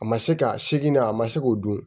A ma se ka segi na a ma se k'o dun